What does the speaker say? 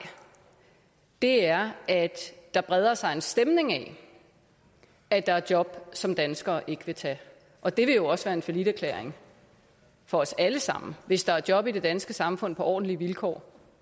er at der breder sig en stemning af at der er job som danskere ikke vil tage og det vil jo også være en falliterklæring for os alle sammen hvis der er job i det danske samfund på ordentlige vilkår